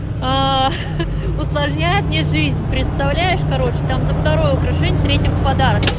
ха-ха усложняет мне жизнь представляешь короче там за второе украшение третье в подарок